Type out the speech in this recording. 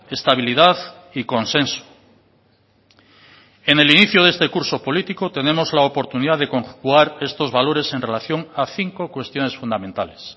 estabilidad y consenso en el inicio de este curso político tenemos la oportunidad de conjugar estos valores en relación a cinco cuestiones fundamentales